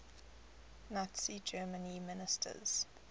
nazi germany ministers